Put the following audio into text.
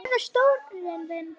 Hver verður stjórinn þinn?